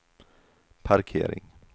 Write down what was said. parkering